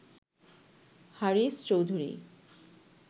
Haris Chowdhury